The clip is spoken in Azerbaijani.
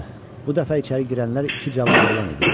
Bu dəfə içəri girənlər iki cavan oğlan idi.